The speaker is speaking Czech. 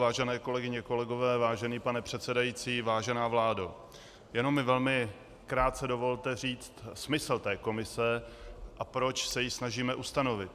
Vážené kolegyně, kolegové, vážený pane předsedající, vážená vládo, jenom mi velmi krátce dovolte říct smysl té komise, a proč se ji snažíme ustanovit.